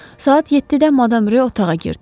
Saat 7-də Madam Ro otağa girdi.